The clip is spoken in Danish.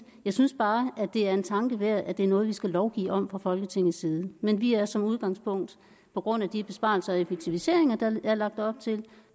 jeg synes bare det er en tanke værd at det er noget vi skal lovgive om fra folketingets side men vi er som udgangspunkt på grund af de besparelser og effektiviseringer der er lagt op til